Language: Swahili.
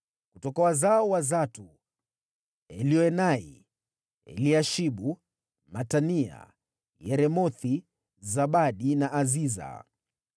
Kutoka wazao wa Zatu: Elioenai, Eliashibu, Matania, Yeremothi, Zabadi na Aziza.